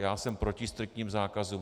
Já jsem proti striktním zákazům.